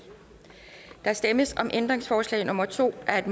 der stemmes om ændringsforslag nummer to af